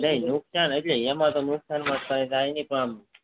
નઈ નુકસાન એમાં તો નુકસાન કઇ જાય નઈ પણ